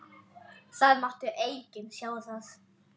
Það mátti enginn sjá það.